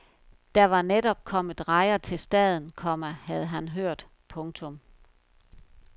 Der var netop kommet rejer til staden, komma havde han hørt. punktum